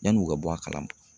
Yanni u ka bɔ a kalama.